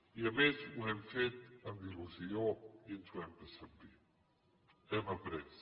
i a més ho hem fet amb il·lusió i ens ho hem passat bé hem après